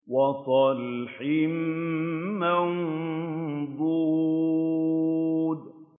وَطَلْحٍ مَّنضُودٍ